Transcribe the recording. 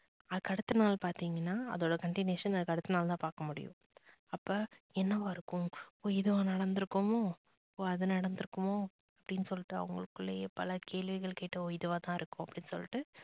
அதுக்கு அடுத்த நாள் பாத்திங்கனா அதோட continuation அதுக்கு அடுத்த நாள் தான் பாக்க முடியும். அப்ப என்னாவா இருக்கும் oh அப்போ இது நடந்து இருக்குமோ oh அது நடந்து இருக்குமோ? அப்படின்னு சொல்லிட்டு அவங்களுகுல்லையே பல கேள்விகளை கேட்டு oh இதுவா தான் இருக்கும் அப்படின்னு சொல்லிட்டு